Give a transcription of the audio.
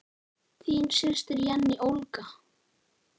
Þín systir, Jenný Olga.